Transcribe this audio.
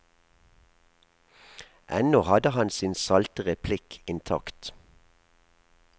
Ennå hadde han sin salte replikk intakt.